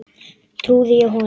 Trúði ég honum?